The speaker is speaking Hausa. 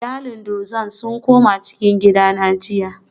Iyalin druze sun koma cikin gida na jiya